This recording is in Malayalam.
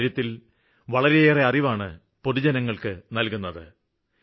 ഇക്കാര്യത്തില് വളരെയെറെ അറിവാണ് പൊതുജനങ്ങള്ക്ക് നല്കുന്നത്